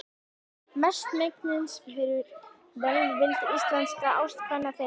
Mestmegnis fyrir velvild íslenskra ástkvenna þeirra.